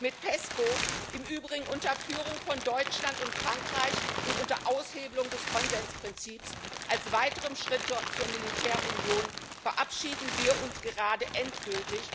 Mit PESCO im Übrigen unter Führung von Deutschland und Frankreich und unter Aushebelung des Konsensprinzips als weiterem Schritt zur Militärunion verabschieden wir uns gerade endgültig